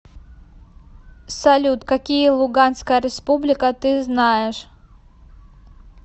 салют какие луганская республика ты знаешь